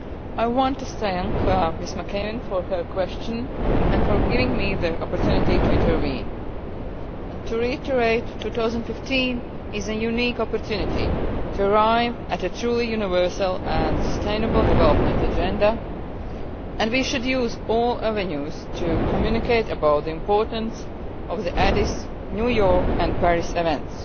I want to thank Ms McAvan for her question and for giving me the opportunity to intervene. To reiterate, 2015 is a unique opportunity to arrive at a truly universal and sustainable development agenda, and we should use all avenues to communicate about the importance of the Addis Ababa, New York and Paris events.